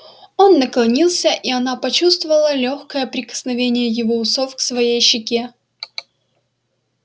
он наклонился и она почувствовала лёгкое прикосновение его усов к своей щеке